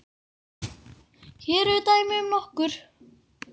Hér eru dæmi um nokkur